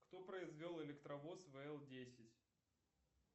кто произвел электровоз вл десять